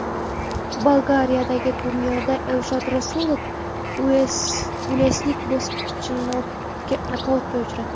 Bolgariyadagi turnirda Elshod Rasulov uelslik bokschini nokautga uchratdi.